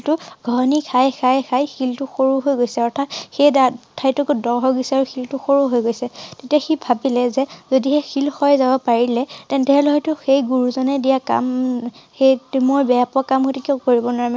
টো ঘহনি খাই খাই খাই শিল টো সৰু হৈ গৈছে অৰ্থাৎ সেই ঠাই টুকুৰ দ হৈ গৈছে আৰু শিল টো সৰু হৈ গৈছে। তেতিয়া সি ভাবিলে যে যদিহে শিল ক্ষয় যাব পাৰিলে তেন্তে সেই লৰা টোক সেই গুৰুজনে দিয়া কা~ম সেই টো মই বেয়া পোৱা কাম হয়তো কিয় কৰিব নোৱাৰোঁ ।